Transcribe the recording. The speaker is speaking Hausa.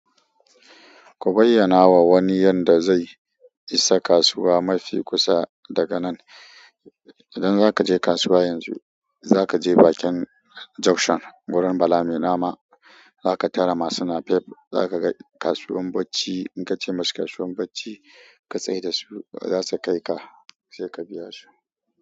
Ku bayyana wa wani yanda zai isa kasuwa mafi kusa daga nan. Idan zaka je kasuwa yanzu, za ka je bakin junction wurin Bala mai nama. Za ka tara masu napep, za ka ga kasuwan bacci. In ka ce masa kasuwan bacci ka tsai da su, za su kai ka sai ka biya su.